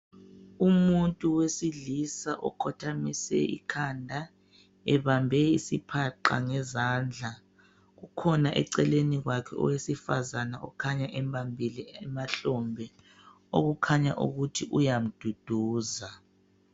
Umuntu wesilisa okhothamise ikhanda ebambe isiphaqa ngezandla kukhona eceleni kwakhe owesifazana okhanya embambile emahlombe okukhanya ukuthi uyamduduza.